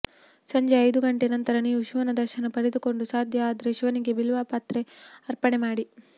ಸಂಜೆ ಐದು ಗಂಟೆ ನಂತರ ನೀವು ಶಿವನ ದರ್ಶನ ಪಡೆದುಕೊಂಡು ಸಾಧ್ಯ ಆದ್ರೆ ಶಿವನಿಗೆ ಬಿಲ್ವ ಪತ್ರೆ ಅರ್ಪಣೆ ಮಾಡಿ